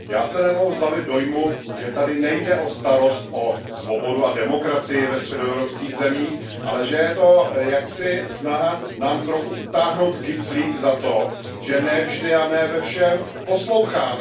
Já se nemohu zbavit dojmu, že zde nejde o starost o svobodu a demokracii ve středoevropských zemích, ale že je to snaha nám trochu utáhnout kyslík za to, že ne vždy a ne ve všem posloucháme.